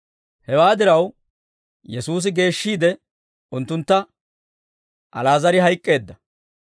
Hewaa diraw, Yesuusi geeshshiide unttuntta, «Ali'aazar hayk'k'eedda.